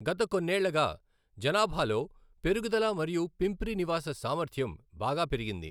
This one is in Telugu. గత కొన్నేళ్ళగా జనాభాలో పెరుగుదల మరియు పింప్రి నివాస సామర్థ్యం బాగా పెరిగింది.